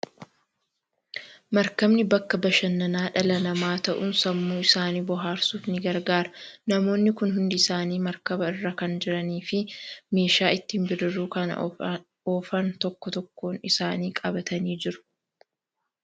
Maarkabni bakka bashannanaa dhala namaa ta'uun sammuu isaanii bohaarsuuf ni gargaara. Namoonni kun hundi isaanii maarkaba irra kan jiranii fi meeshaa ittiin bidiruu kana oofan tokko tokkoon isaanii qabatanii jiru.